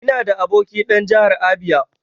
Ina da aboki dan Jahar Abia.